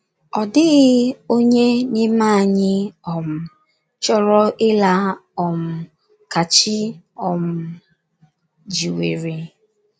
Ọ dịghị onye n’ime anyị um chọrọ ịla um ka chi um jiwere. ”